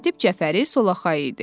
Katib Cəfəri solaxay idi.